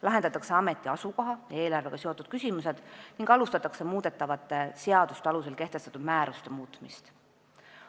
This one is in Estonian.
Lahendatakse ameti asukoha ja eelarvega seotud küsimused ning alustatakse muudetavate seaduste alusel kehtestatud määruste muutmist.